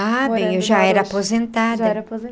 Ah, bem, eu já era aposentada.